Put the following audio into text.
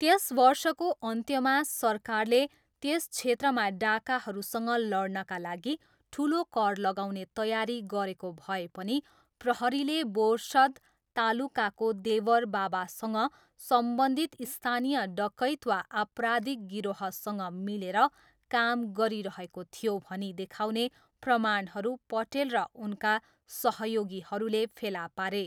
त्यस वर्षको अन्त्यमा, सरकारले त्यस क्षेत्रमा डाँकाहरूसँग लड्नका लागि ठुलो कर लगाउने तयारी गरेको भए पनि प्रहरीले बोर्सद तालुकाको देवर बाबासँग सम्बन्धित स्थानीय डकैत वा आपराधिक गिरोहसँग मिलेर काम गरिरहेको थियो भनी देखाउने प्रमाणहरू पटेल र उनका सहयोगीहरूले फेला पारे।